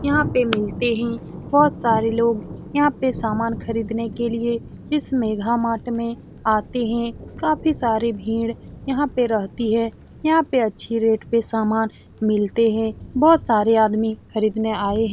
यहाँ पे मिलते है बहुत सारे लोग यहाँ पे सामान खरीदने के लिए इस मेघा मार्ट में आते है काफी सारे भीड़ यहाँ पे रहती है यहाँ पे अच्छी रेट पे सामान मिलते है बहुत सारे आदमी खरीदने आये है।